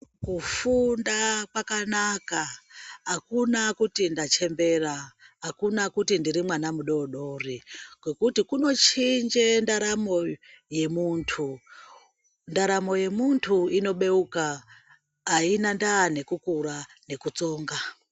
Kufunda kwakanaka, hakuna kuti ndachembera, hakuna kuti ndiri mwana mudori-dori ngekuti kunochinje ndaramo yemuntu. Ndaramo yemuntu inobeuka, haina ndaa nekukura nekutsonga.